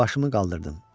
Başımı qaldırdım.